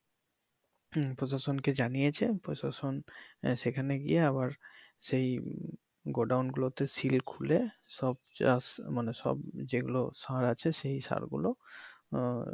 হম প্রশাসনকে জানিয়েছে, প্রশাসন সেখানে গিয়ে আবার সেই গোডাউন গুলোতে সিল খুলে সব যা আছে মানে সব যেগুলো সার আছে সেই সার গুলো আহ